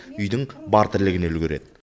үйдің бар тірлігіне үлгереді